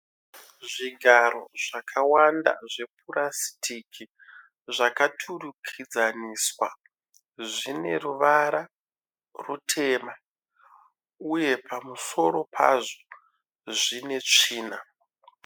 Zvigaro zvakawanda zvepurasitiki zvakaturikidzaniswa. Zvineruvara rwutema, uye pamusoro pazvo zvine tsvina.